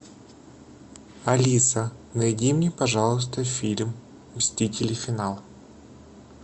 алиса найди мне пожалуйста фильм мстители финал